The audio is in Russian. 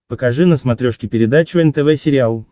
покажи на смотрешке передачу нтв сериал